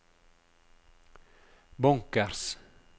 bunkers